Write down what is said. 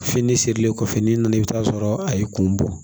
Fini sirilen kɔfɛ n'i nana i bɛ taa sɔrɔ a ye kun bɔ